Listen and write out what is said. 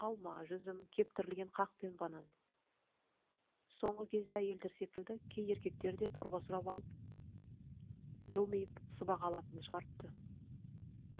алма жүзім кептірілген қақ пен банан соңғы кезде әйелдер секілді кей еркектер де дорба сұрап алып жылмиып сыбаға алатынды шығарыпты